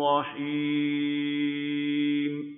رَّحِيمٌ